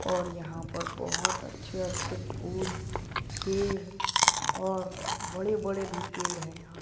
और यहां पर बहोत अच्छे अच्छे फूल पेड़ और बड़े बड़े भी पेड़ हैं यहाँ।